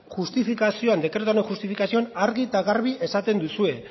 justifikazioan dekretuaren justifikazioan argi eta garbi esaten duzue